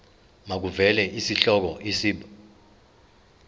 makuvele isihloko isib